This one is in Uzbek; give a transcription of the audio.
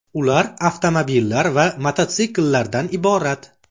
Ular avtomobillar yoki mototsikllardan iborat.